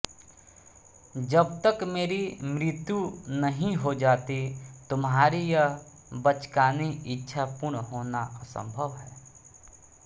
जब तक मेरी मृत्यु नहीं हो जाती तुम्हारी यह बचकानी इच्छा पूर्ण होना असंभव है